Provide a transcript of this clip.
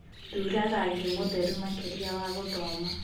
thũra rangĩ mutheru makĩrĩa wa gũthoma